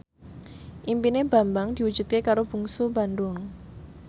impine Bambang diwujudke karo Bungsu Bandung